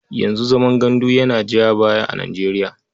Yanzu zaman gandu yana ja baya a Nijeriya.